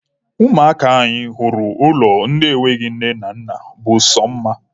Ụmụaka anyị hụrụ n'ụlọ ndị enweghị nne na nna bụ sọ mma.